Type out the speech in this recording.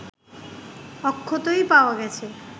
অক্ষতই পাওয়া গেছে